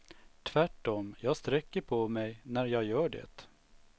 Tvärtom, jag sträcker på mig när jag gör det.